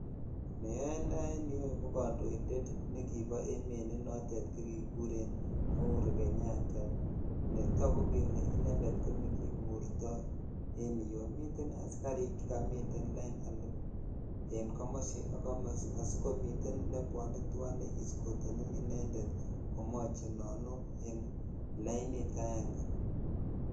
Ne onoe en yuu ko kondoinded nekibo emet ne note ko kikuren uhuru kenyatta netagu kele inended konikimutoen oyeu miten asikark charming lain en ko.osi ak komosi asikomiten nebeone twan ne iskotenu inended komochenonu en lainit aenge.